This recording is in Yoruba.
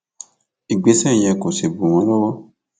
ìgbésẹ yẹn kò kò sì bù wọn lọwọ